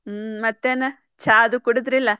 ಮತ್ತೇನ್ ಚಾ ಅದು ಕುಡಿದ್ರಿಲ?